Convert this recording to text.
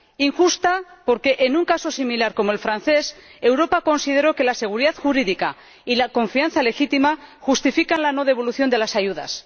injusta, porque en un caso similar como el francés, Europa consideró que la seguridad jurídica y la confianza legítima justifican la no devolución de las ayudas